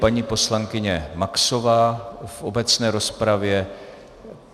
Paní poslankyně Maxová v obecné rozpravě.